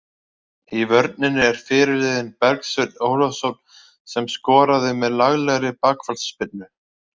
Í vörninni er fyrirliðinn Bergsveinn Ólafsson sem skoraði með laglegri bakfallsspyrnu.